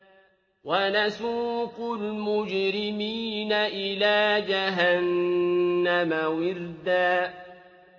وَنَسُوقُ الْمُجْرِمِينَ إِلَىٰ جَهَنَّمَ وِرْدًا